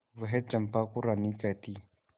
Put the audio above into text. वह चंपा को रानी कहती